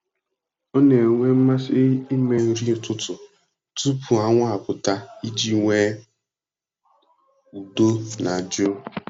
Ọ na-enwe mmasị ime nri ụtụtụ tupu anwụ apụta iji nwee udo na jụụ.